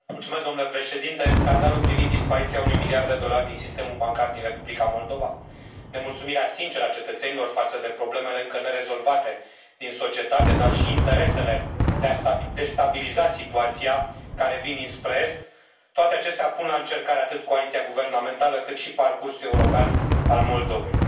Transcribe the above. Domnule președinte, scandalul privind dispariția unui miliard de dolari din sistemul bancar din Republica Moldova, nemulțumirea sinceră a cetățenilor față de problemele încă nerezolvate din societate, dar și interesele de a destabiliza situația, care vin dinspre est toate acestea pun la încercare atât coaliția guvernamentală, cât și parcursul european al Moldovei.